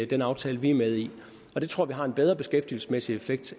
den aftale vi er med i og det tror vi har en bedre beskæftigelsesmæssig effekt